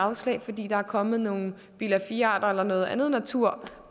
afslag fordi der er kommet nogle bilag iv arter eller noget andet natur